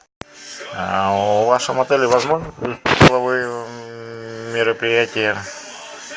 в вашем отеле возможны мероприятия